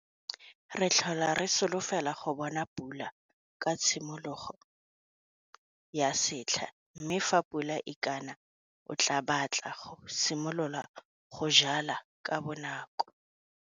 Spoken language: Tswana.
Re tlhola re solofela go bona pula ka tshimologo ya setlha mme fa pula e ka na o tlaa batla go simolola go jwala ka bonako!